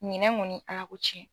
Ɲinɛn kɔni Ala ko cɛn